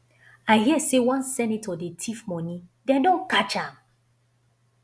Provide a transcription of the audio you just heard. i hear say one senator dey thief money dem don catch am